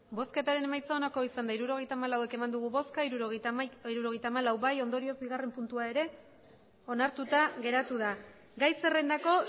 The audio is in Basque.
emandako botoak hirurogeita hamalau bai hirurogeita hamalau ondorioz bigarren puntua ere onartuta geratu da gai zerrendako